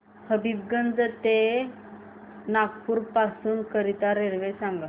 हबीबगंज पासून नागपूर करीता रेल्वे सांगा